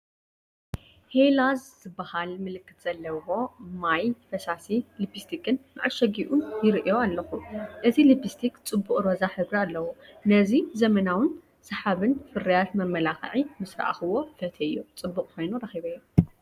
ሄላዝ ዝበሃል ምልክት ዘለዎ ማት ፈሳሲ ልፕስቲክን መዐሸጊኡን ይርእዮ ኣለኹ። እቲ ልፕስቲክ ጽቡቕ ሮዛ ሕብሪ ኣለዎ።:ነዚ ዘመናውን ሰሓብን ፍርያት መመላኽዒ ምስ ረኣኹዎ ፈቲየዮ ጽቡቕ ኮይኑ ረኺበዮ።